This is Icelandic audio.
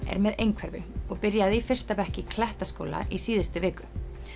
er með einhverfu og byrjaði í fyrsta bekk í Klettaskóla í síðustu viku